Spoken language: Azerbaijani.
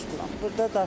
Bu işlə məşğulam.